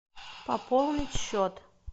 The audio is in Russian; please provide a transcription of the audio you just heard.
пополнить счет